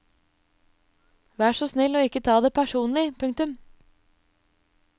Vær så snill å ikke ta det personlig. punktum